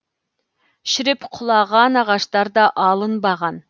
шіріп құлаған ағаштар да алынбаған